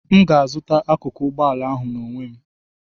M ga-azụta akụkụ ụgbọ ala ahụ n'onwe m